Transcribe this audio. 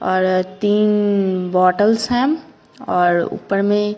और तीन बॉटल्स हैं और ऊपर में --